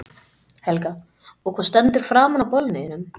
Helga: Og hvað stendur framan á bolnum þínum?